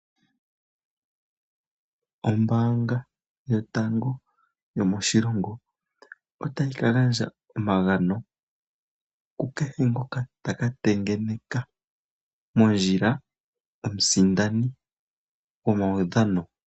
Ombaanga yotango yomoshilongo otayi ka gandja omagano ku kehe ngoka ta ka tengeneka mondjila omusindani gomaudhano.